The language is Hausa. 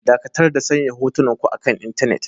Dakatar da sanya hotunanku akan intanet.